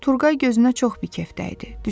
Turqay gözünə çox bikef dəydi.